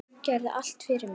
Gerðir allt fyrir mig.